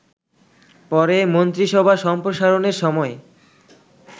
পরে মন্ত্রিসভা সম্প্রসারণের সময়ে